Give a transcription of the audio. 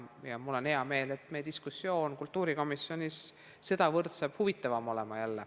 Ja mul on hea meel, et meie diskussioon kultuurikomisjonis tuleb jälle selle võrra huvitavam.